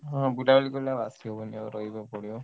ହଁ ବୁଲାବୁଲି କଲେ ଆଉ ଆସିହବନି ରହିବାକୁ ପଡିବ।